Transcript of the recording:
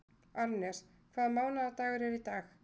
Arnes, hvaða mánaðardagur er í dag?